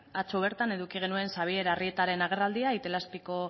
atzo bertan eduki genuen xabier arrietaren agerraldia itelazpiko